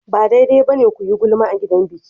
Ba daidai ba ne ku yi gulma a gidan biki.